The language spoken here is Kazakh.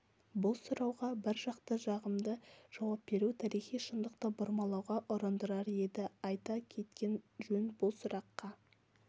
бұл сұрауға біржақты жағымды жауап беру тарихи шындықты бұрмалауға ұрындырар еді айта кеткен жөн бұл сұраққа